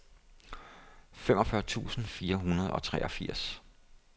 femogfyrre tusind fire hundrede og treogfirs